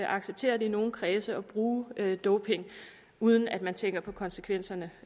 accepteret i nogle kredse at bruge doping uden at man tænker på konsekvenserne